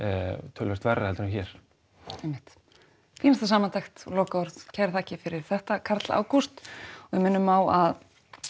töluvert verra heldur en hér einmitt fínasta samantekt og lokaorð kærar þakkir fyrir þetta Karl Ágúst og við minnum á að